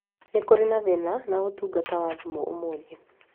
Nĩ kũrĩ na thĩna na ũtungata wa thimũ ũmũthĩ